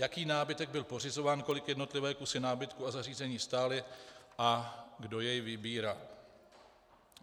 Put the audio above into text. Jaký nábytek byl pořizován, kolik jednotlivé kusy nábytku a zařízení stály a kdo jej vybíral?